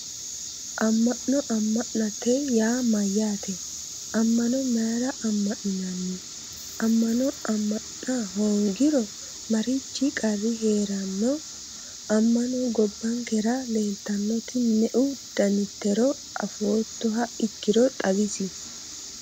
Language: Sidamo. Amma'no amma'note yaa mayyaate ammano mayra amma'ninanni amma'no amma'na hoongiro marichi qarri heeranno amma'no gobbankera leeltannoti me"u danitero afoottoha ikkiro xawisie